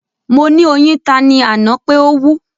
Mo ni oyin ta ni ana pe o wú